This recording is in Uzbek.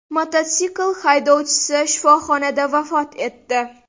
Mototsikl haydovchisi shifoxonada vafot etdi.